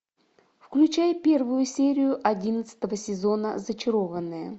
включай первую серию одиннадцатого сезона зачарованные